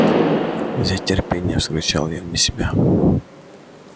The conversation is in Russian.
взять терпение вскричал я вне себя